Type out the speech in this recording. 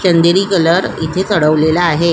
चंदेरी colour इथे चढवलेला आहे.